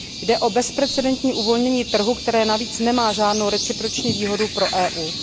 Jde o bezprecedentní uvolnění trhu, které navíc nemá žádnou reciproční výhodu pro EU.